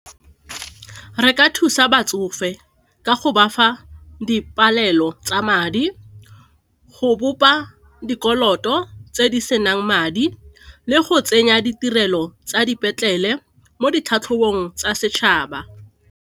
Re ka thusa batsofe ka go bafa dipalelo tsa madi, go bopa dikoloto tse di senang madi le go tsenya ditirelo tsa dipetlele mo ditlhatlhobong tsa setšhaba.